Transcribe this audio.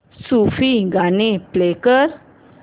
सूफी गाणी प्ले कर